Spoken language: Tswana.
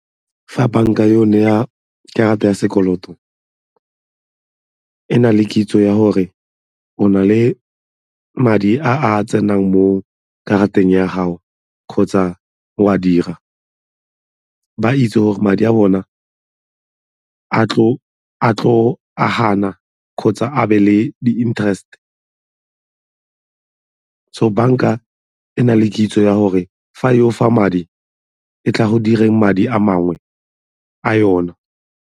Fa banka e go karata ya sekoloto e na le kitso ya gore o na le madi a a tsenang mo karateng ya gago kgotsa o a dira, ba itse gore madi a bona a tlo agana kgotsa a be le di-interest. So, banka e na le kitso ya gore fa e go fa madi e tla go direng madi a mangwe a yone.